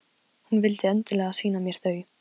Hún vildi endilega sýna mér þau.